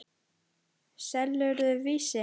Selurðu Vísi?